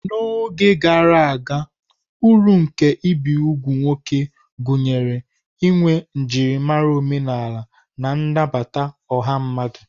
N'oge gara aga, uru nke ibi úgwù nwoke gụnyere inwe njirimara omenala na nnabata ọha mmadụ.